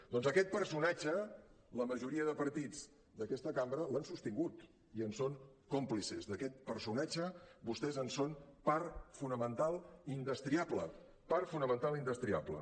doncs aquest personatge la majoria de partits d’aquesta cambra l’han sostingut i en són còmplices d’aquest personatge vostès en són part fonamental indestriable part fonamental indestriable